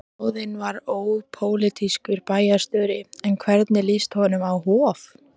Ráðinn var ópólitískur bæjarstjóri, en hvernig líst honum á Hof?